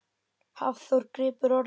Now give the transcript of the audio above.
Hafþór grípur orðið.